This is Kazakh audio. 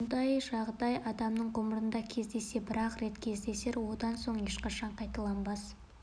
ондай жағдай адамның ғұмырында кездессе бір-ақ рет кездесер одан соң ешқашанда қайталанбас